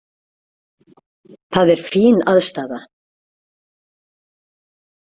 Það er fín aðstaða.